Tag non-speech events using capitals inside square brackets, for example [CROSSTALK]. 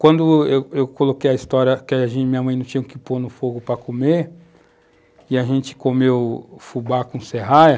Quando eu eu coloquei a história que a, [UNINTELLIGIBLE] minha mãe não tinha o que pôr no fogo para comer, e a gente comeu fubá com serraia,